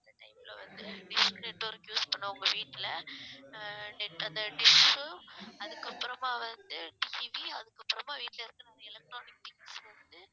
அந்த time ல வந்து dish network use பண்ணவுங்க வீட்டுல ஆஹ் net அந்த dish உம் அதுக்கப்புறமா வந்து அதுக்கப்புறமா வீட்ல இருக்குறவங்க electronics வந்து